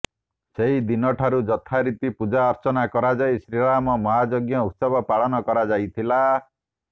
ସେହିଦିନଠାରୁ ଯଥା ରୀତି ପୂଜା ଅର୍ଚ୍ଚନା କରାଯାଇ ଶ୍ରୀରାମ ମହାଯଜ୍ଞ ଉତ୍ସବ ପାଳନ କରାଯାଇଥିଲା